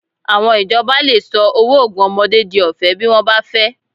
Àwọn ìjọba lè sọ owó oògùn ọmọdé di ọ̀fẹ́ bí wọ́n bá fẹ́